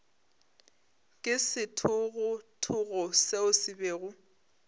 ke sethogothogo seo se bego